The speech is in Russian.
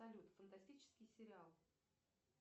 салют фантастический сериал